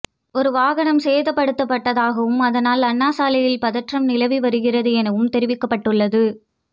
ஒரு வாகனமும் சேதப்படுத்தப்பட்டதாகவும் இதனால் அண்ணாசாலையில் பதற்றம் நிலவி வருகிறது எனவும் தெரிவிக்கப்பட்டுள்ளது